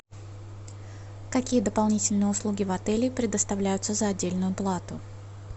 какие дополнительные услуги в отеле предоставляются за отдельную плату